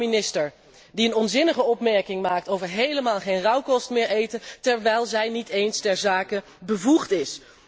Een landbouwminister, die een onzinnige opmerking maakt over 'helemaal geen rauwkost meer eten', terwijl zij niet eens ter zake bevoegd is!